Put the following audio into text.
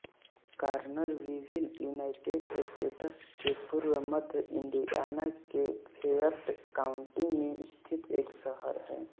कॉनरविविल United States के पूर्व मध्य इंडियाना के फ़ेएट काउंटी में स्थित एक शहर है